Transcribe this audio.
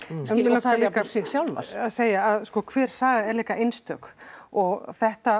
og þær jafnvel sig sjálfar að segja að sko hver saga er líka einstök og þetta